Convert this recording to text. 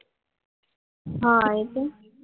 હા આવી તી ને